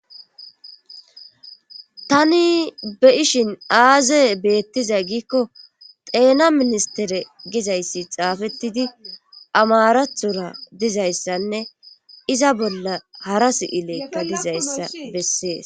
Tani be ishin aaze beettiza giikko xeena ministere gizayssi xaafettidi amarathora dizayssanne iza bolla hara si'ilekka gizayssa bessees